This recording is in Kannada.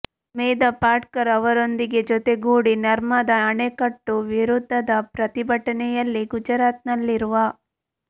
ಮೇಧಾ ಪಾಟ್ಕರ್ ಅವರೊಂದಿಗೆ ಜೊತೆಗೂಡಿ ನರ್ಮದಾ ಅಣೆಕಟ್ಟು ವಿರುದ್ದದ ಪ್ರತಿಭಟನೆಯಲ್ಲಿ ಗುಜರಾತ್ನಲ್ಲಿರುವ